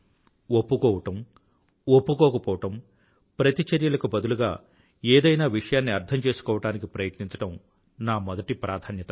ఒప్పుకోవడం ఒప్పుకోకపోవడం ప్రతిచర్యలకు బదులుగా ఏదైనా విషయాన్ని అర్థం చేసుకోవడానికి ప్రయత్నించడం నా మొదటి ప్రాధాన్యత